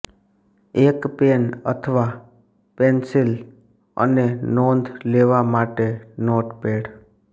એક પેન અથવા પેંસિલ અને નોંધ લેવા માટે નોટપેડ